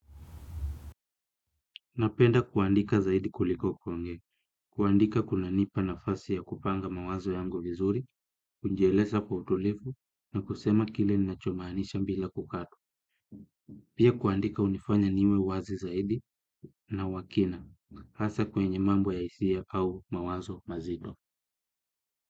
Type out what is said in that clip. Napenda kuandika zaidi kuliko kuonge, kuandika kunanipa nafasi ya kupanga mawazo yangu vizuri, kunjielesa kwa utulifu, na kusema kile ninacho maanisha mbila kukatu. Pia kuandika unifanya niwe wazi zaidi na wakina, hasa kwenye mambo ya isia au mawazo mazito.